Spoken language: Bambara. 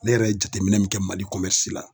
Ne yɛrɛ ye jateminɛ min kɛ Mali la